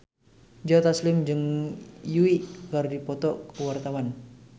Joe Taslim jeung Yui keur dipoto ku wartawan